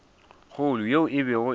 kgolo yeo e bego e